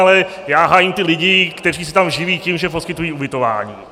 Ale já hájím ty lidi, kteří se tam živí tím, že poskytují ubytování.